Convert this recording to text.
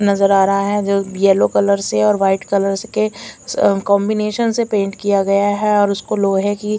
नज़र आ रहा है जो यलो कलर से और व्हाईट कलर के अ कॉम्बिनेशन से पेंट किया गया है और उसको लोहे की--